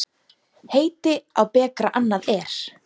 Heiti á bekra annað er.